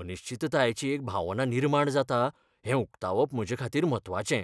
अनिश्चिततायेची एक भावना निर्माण जाता हें उकतावप म्हजेखातीर म्हत्वाचें.